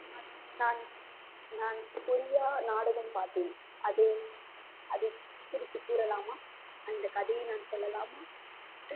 நான் நான் கொரியா நாடகம் பார்த்தேன். அதில்அதைக் குறித்து கூறலாமா அந்த கதையை நான் சொல்லலாமா?